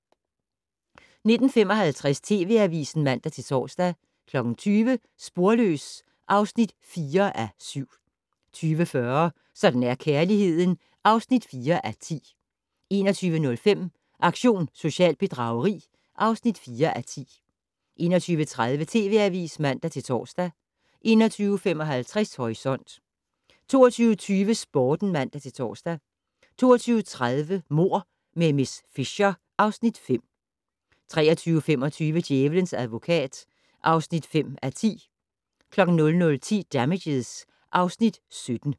19:55: TV Avisen (man-tor) 20:00: Sporløs (4:7) 20:40: Sådan er kærligheden (4:10) 21:05: Aktion socialt bedrageri (4:10) 21:30: TV Avisen (man-tor) 21:55: Horisont 22:20: Sporten (man-tor) 22:30: Mord med miss Fisher (Afs. 5) 23:25: Djævelens advokat (5:10) 00:10: Damages (Afs. 17)